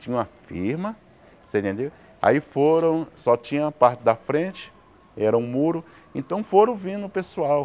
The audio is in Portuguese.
Tinha uma firma você entendeu, aí foram, só tinha a parte da frente, era um muro, então foram vindo o pessoal.